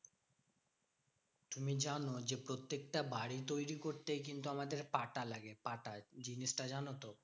তুমি জানো যে প্রত্যেকটা বাড়ি তৈরী করতেই কিন্তু আমাদের পাটা লাগে পাটা। জিনিসটা জানতো?